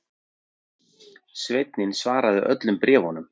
Sveinninn svarar öllum bréfum